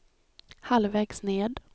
halvvägs ned